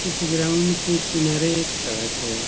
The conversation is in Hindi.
इस ग्राउंड के किनारे एक सड़क है |